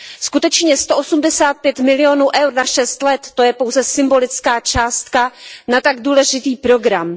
Skutečně sto osmdesát pět milionů eur na šest let, to je pouze symbolická částka na tak důležitý program.